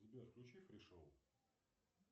сбер включи фри шоу